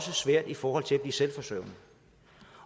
det svært i forhold til at blive selvforsørgende